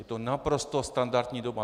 Je to naprosto standardní doba.